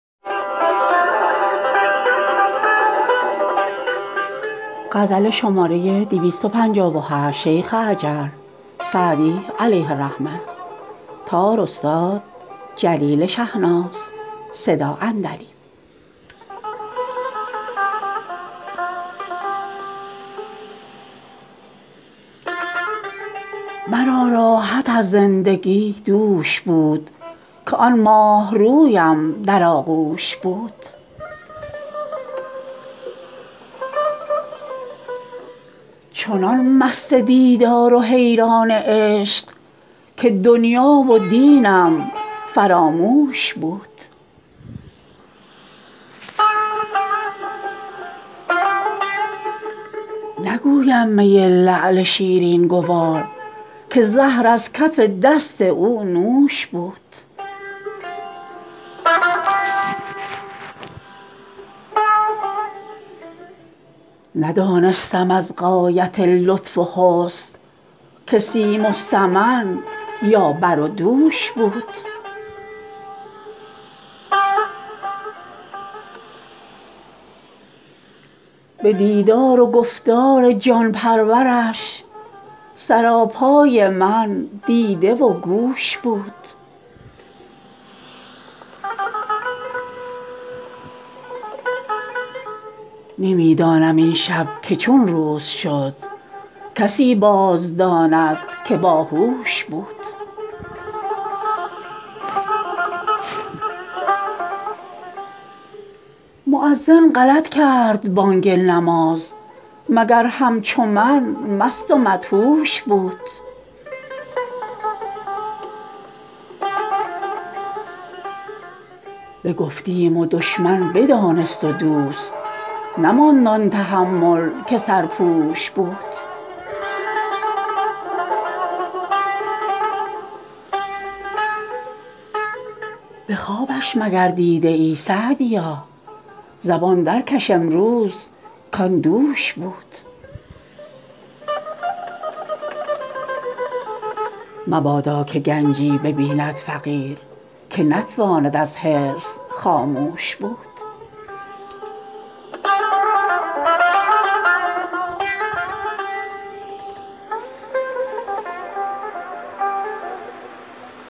مرا راحت از زندگی دوش بود که آن ماهرویم در آغوش بود چنان مست دیدار و حیران عشق که دنیا و دینم فراموش بود نگویم می لعل شیرین گوار که زهر از کف دست او نوش بود ندانستم از غایت لطف و حسن که سیم و سمن یا بر و دوش بود به دیدار و گفتار جان پرورش سراپای من دیده و گوش بود نمی دانم این شب که چون روز شد کسی باز داند که با هوش بود مؤذن غلط کرد بانگ نماز مگر همچو من مست و مدهوش بود بگفتیم و دشمن بدانست و دوست نماند آن تحمل که سرپوش بود به خوابش مگر دیده ای سعدیا زبان در کش امروز کآن دوش بود مبادا که گنجی ببیند فقیر که نتواند از حرص خاموش بود